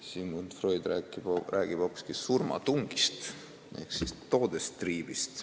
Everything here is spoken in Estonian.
Sigmund Freud räägib hoopiski surmatungist ehk Todestrieb'ist.